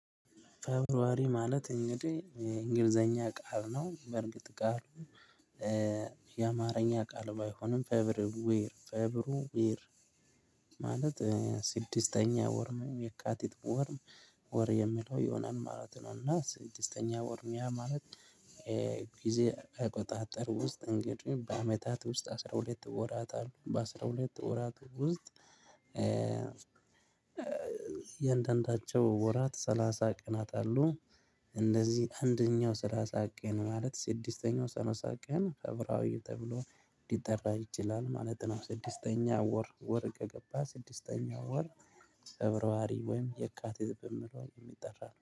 ፌብራሪ ማለት እንግዲህ የእንግሊዘኛ ቃል ነው በእርግጥ ቃሉ የአማርኛ ቃል ባይሆንም ፌብሩ ዌር ፌብሩ ዌር ማለት ስድስተኛ ወር የካቲት ወር ወር የሚለው ይሆናል ማለት ነው። እና ስድስተኛ ወርም ያ ማለት ጊዜ አቆጣጠር ውስጥ እንግዲህ በአመታት ውስጥ አስራ ሁለት ወራት አሉ በአስራ ሁለት ወራት ውስጥ የእያንዳንዳቸው ወራት ሰላሳ ቅናት አሉ። እንደዚህ አንደኛው ሰላሳ ቀን ማለት ስድስተኛው ሰላሳ ቀን ፌብራሪ ተብሎ ሊጠራ ይችላል ማለት ነው። ስድስተኛ ወር ወር ገባ ስድስተኛ ወር ፌብራሪ ወይም የካቲት በሚለው የሚጠራ ነው